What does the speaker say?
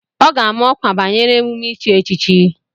Ọ ga-ama ọkwa banyere emume ichi echichi.